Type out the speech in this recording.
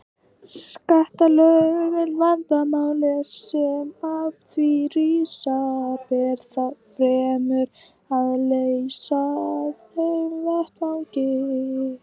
skattalög, en vandamál sem af því rísa ber þá fremur að leysa á þeim vettvangi.